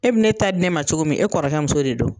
E bɛ ne taa di ne ma cogo min, e kɔrɔkɛ muso de don,